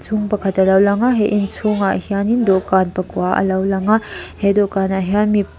inchhung pakhat alo lang a he inchhung ah hianin ldawhkan pakua alo lang a he dawhkan ah hian mi--